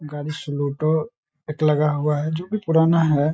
गाड़ी एक लगा हुआ है जो कि पुराना है।